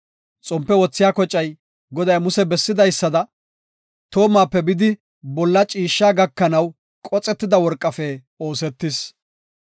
Xompe wothiya kocay, Goday Muse bessidaysada toomape bidi bolla ciishsha gakanaw qoxetida worqafe oosetis.